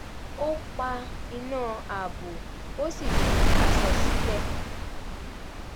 ó pa iná ààbò ó sì fi aṣọ sílẹ̀